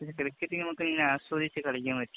പിന്നെ ക്രിക്കറ്റ് നമുക്കിങ്ങനെ ആസ്വദിച്ച് കളിക്കാന്‍ പറ്റും.